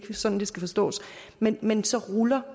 sådan det skal forstås men men så ruller